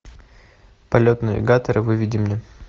полет навигатора выведи мне